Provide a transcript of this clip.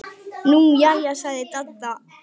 Nú jæja sagði Dadda.